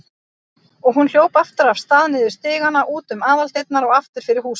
Og hún hljóp aftur af stað, niður stigana, út um aðaldyrnar og aftur fyrir húsið.